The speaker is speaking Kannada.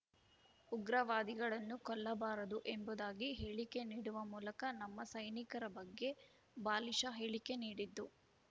ಉಗ್ರವಾದಿಗಳನ್ನು ಕೊಲ್ಲಬಾರದು ಎಂಬುದಾಗಿ ಹೇಳಿಕೆ ನೀಡುವ ಮೂಲಕ ನಮ್ಮ ಸೈನಿಕರ ಬಗ್ಗೆ ಬಾಲಿಷ ಹೇಳಿಕೆ ನೀಡಿದ್ದು